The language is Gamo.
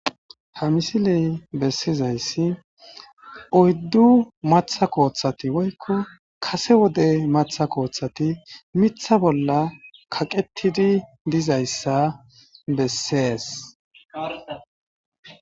Ha misiley bessizayssi oyddu matha kooththati woykko kase wode matha kooththati mitha bolla kaqettidi dizayssa bessees.